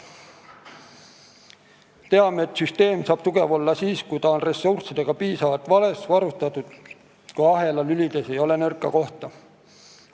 Teame, et süsteem saab tugev olla siis, kui ta on piisavalt ressurssidega varustatud ja kui ahela lülides ei ole nõrka kohta.